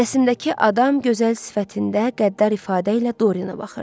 Rəsmdəki adam gözəl sifətində qəddar ifadə ilə Doriyenə baxırdı.